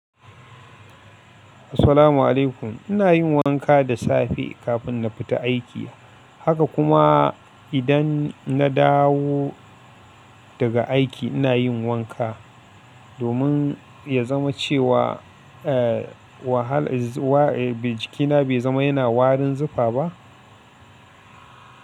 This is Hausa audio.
Assalamu alaikum. Ina yin wanka da safe kafin na fita aiki. Haka kuma idan na dawo daga aiki ina yin wanka domin ya zama cewa, eh, wahal, wa, jikina bai zama yana warin zufa ba.